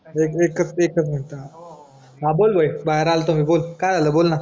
एक एकच मिनटं हा हा बोल भाई भायेर आलतो मी बोल काय झालं बोल ना